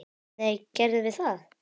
Nei, gerðum við það?